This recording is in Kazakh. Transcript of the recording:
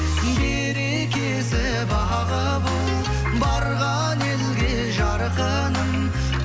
берекесі бағы бол барған елге жарқыным